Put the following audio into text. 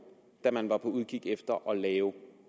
da man var på udkig efter at lave